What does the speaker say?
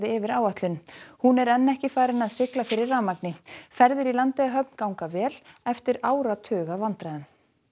yfir áætlun hún er enn ekki farin að sigla fyrir rafmagni ferðir í Landeyjahöfn ganga vel eftir áratug af vandræðum